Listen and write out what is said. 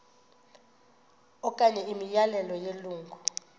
okanye imiyalelo yelungu